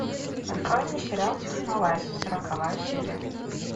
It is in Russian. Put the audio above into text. открой мне сериал технолайз сороковая серия